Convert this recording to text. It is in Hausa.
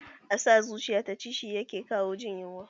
A sa zuciya ta ci, shi ya kawo jin yunwa.